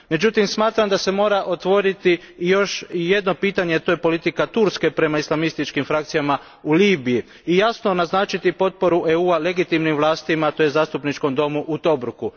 Međutim, smatram da se mora otvoriti još jedno pitanje, a to je politika Turske prema islamističkim frakcijama u Libiji, i jasno naznačiti potporu EU a legitimnim vlastima te Zastupničkom domu u Tobruku.